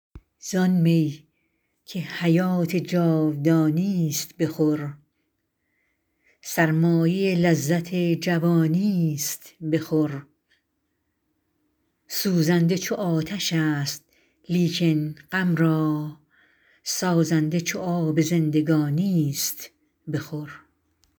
زآن می که حیات جاودانیست بخور سرمایه لذت جوانی است بخور سوزنده چو آتش است لیکن غم را سازنده چو آب زندگانی است بخور